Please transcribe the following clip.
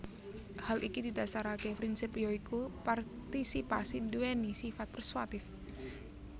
Hal iki didasaraké prinsip ya iku partisipasi nduwèni sifat persuatif